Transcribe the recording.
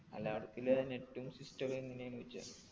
അല്ല അവിടെത്തില്ലേ net ഉം system ഒക്കെ എങ്ങനെയാന്ന് ചോയ്ച്ചാ